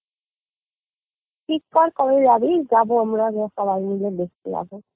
ঠিক কর কবে যাবি যাবো আমরা সবাই মিলে দেখতে যাবো